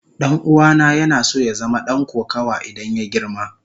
Dan'uwana yana so ya zama dan kokawa idan ya girma.